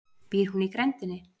Býr hún í grenndinni?